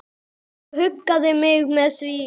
Ég huggaði mig með því.